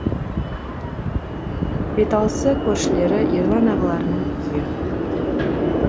беталысы көршілері ерлан ағаларының үйі